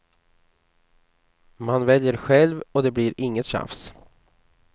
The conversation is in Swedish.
Man väljer själv och det blir inget tjafs.